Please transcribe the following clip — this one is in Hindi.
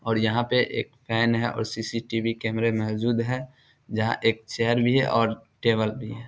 और यहां पे एक फैन है और सी.सी.टी.वी. कैमरे मौजूद है जहां एक चेयर भी और टेबल भी है।